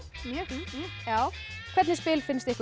já hvernig spil finnst ykkur